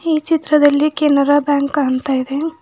ಈ ಚಿತ್ರದಲ್ಲಿ ಕೆನರಾ ಬ್ಯಾಂಕ್ ಅಂತ ಇದೆ.